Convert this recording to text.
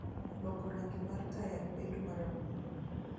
loko rangi mar taya bedo marambulu